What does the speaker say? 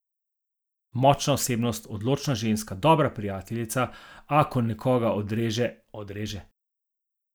Močna osebnost, odločna ženska, dobra prijateljica, a ko nekoga odreže, odreže.